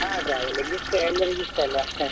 ಹಾ traveling ಇಷ್ಟಾ ಎಲ್ಲರಿಗು ಇಷ್ಟ ಅಲ್ಲ.